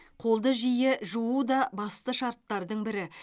қолды жиі жуу да басты шарттардың бірі